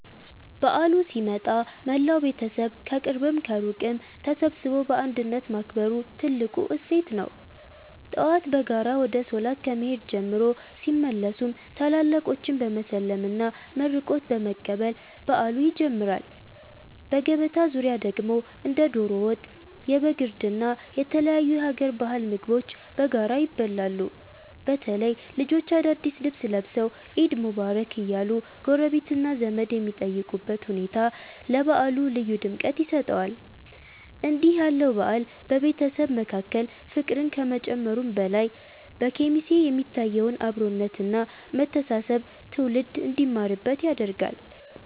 በዓሉ ሲመጣ መላው ቤተሰብ ከቅርብም ከሩቅም ተሰባስቦ በአንድነት ማክበሩ ትልቁ እሴት ነው። ጠዋት በጋራ ወደ ሶላት ከመሄድ ጀምሮ፣ ሲመለሱም ታላላቆችን በመሳለምና መርቆት በመቀበል በዓሉ ይጀምራል። በገበታ ዙሪያ ደግሞ እንደ ዶሮ ወጥ፣ የበግ እርድ እና የተለያዩ የሀገር ባህል ምግቦች በጋራ ይበላሉ። በተለይ ልጆች አዳዲስ ልብስ ለብሰው "ዒድ ሙባረክ" እያሉ ጎረቤትና ዘመድ የሚጠይቁበት ሁኔታ ለበዓሉ ልዩ ድምቀት ይሰጠዋል። እንዲህ ያለው በዓል በቤተሰብ መካከል ፍቅርን ከመጨመሩም በላይ፣ በኬሚሴ የሚታየውን አብሮነት እና መተሳሰብ ትውልድ እንዲማርበት ያደርጋል።